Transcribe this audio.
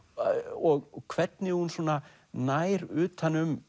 og hvernig hún nær utan um